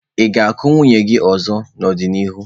Ị ga-akụ nwunye gị ọzọ n'ọdịnihu?